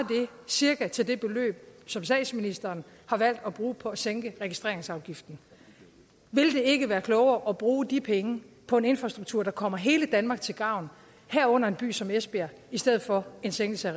cirka til det beløb som statsministeren har valgt at bruge på at sænke registreringsafgiften vil det ikke være klogere at bruge de penge på en infrastruktur der kommer hele danmark til gavn herunder en by som esbjerg i stedet for en sænkelse